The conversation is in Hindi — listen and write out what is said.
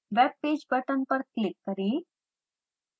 web page बटन पर क्लिक करें